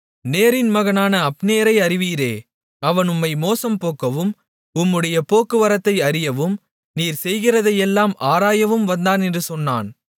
நேரின் மகனான அப்னேரை அறிவீரே அவன் உம்மை மோசம் போக்கவும் உம்முடைய போக்குவரத்தை அறியவும் நீர் செய்கிறதையெல்லாம் ஆராயவும் வந்தான் என்று சொன்னான்